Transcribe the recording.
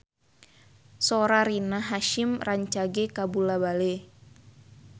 Sora Rina Hasyim rancage kabula-bale